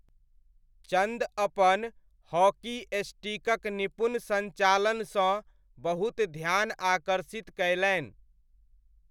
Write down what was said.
चन्द अपन हॉकी स्टिकक निपुण सञ्चालनसँ बहुत ध्यान आकर्षित कयलनि।